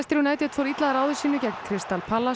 United fór illa að ráði sínu gegn Crystal Palace